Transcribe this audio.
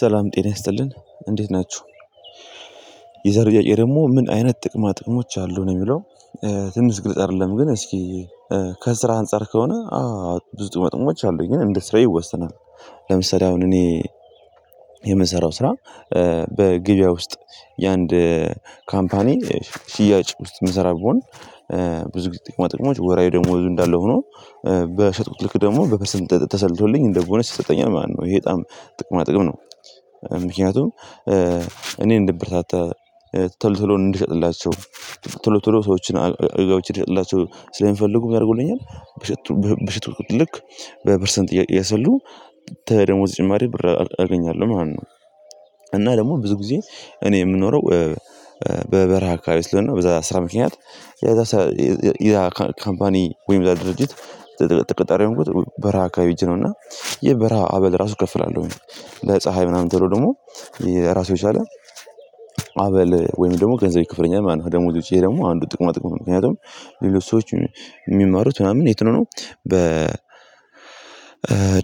ሰላም ጤና ይስጥልን እንዴት ናቹ የዛሬ ጥያቄ ደግሞ ምን አይነት ጥቅማ ጥቅሞች አሉ ነው የሚለው? ትንሽ ግልጽ አይደለም። ግን እስኪ ከስራ አንፃር ከሆነ አዎ ብዙ ጥቅማ ጥቅሞች አሉ እንደ ሰው ይወሰናል። ለምሳሌ አሁን እኔ የምሰራው ስራ በገበያ ውስጥ የአንድ ካምፓኒ ሽያጭ ውስጥ የምሰራ ብሆን ብዙ ጥቅማ ጥቅሞች ወራሀዊ ደሞዙ እንዳለ ሆኖ በሸጥኩት ልክ ደግሞ በፐረንት ተሰልቶልኝ እንደቦነስ ይሰጠኛል ማለት ነው ይሄ በጣም ጥቅማ ጥቅም ነው። ምክንያቱም እኔን እንድበረታታ ተሎ ተሎ እንድሸጥላቸው ተል ተሎ ሰዎችን እንድሸጥላቸው ስለሚፈልጉ። በሸጥኩት ልክ በፐርሰንት እያሰሉ ደሞዝ ጭማሬ ብር አገኛለው ማለት ነው። እና ደግሞ ብዙ ጊዜ እኔ የምኖረው በበረሃ አካባቢ ስለሆነ በዛ ስራ ምክንያት የዛ ያ ካምፓኒ ወይም ያ ድርጅት ተቀጣሪ የሆንኩት በረሃ ከባቢ ህጄ ነውና ይሄ የበረሃ አበል ራሱ እከፍላለው። ለፀሀይ ምናምን ተብሎ ደግሞ የራሱ የቻለ አበል ወይም ደግሞ ገንዘብ ይከፍለኛል ማለት ነው። ደግሞ ውጪ ይሄ ደግሞ አንዱ ጥቅማ ጥቅም ነው ምክንያቱም ሌሎች ሰዎች የሚማሩት ምናምን የት ነው ነው? በ